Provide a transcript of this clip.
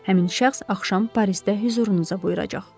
Həmin şəxs axşam Parisdə hüzurunuza buyuracaq.